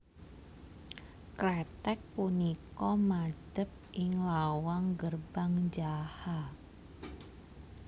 Kreteg punika madep ing lawang Gerbang Jaha